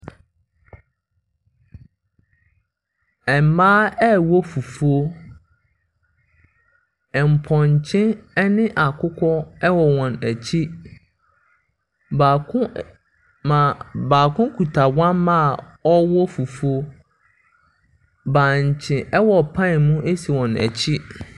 Mmaa ɛrewɔ fufuo. Mpɔnkye ne akokɔ wɔ wɔn akyi. Baako ɛ maa baako kita wɔmma ɛrewɔ fufuo. Bankye wɔ pan mu si wɔn akyi.